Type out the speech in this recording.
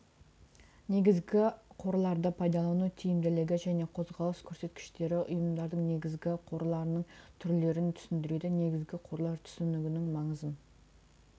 негізгі қорларды пайдалану тиімділігі және қозғалыс көрсеткіштері ұйымдардың негізгі қорларының түрлерін түсіндіреді негізгі қорлар түсінігінің маңызын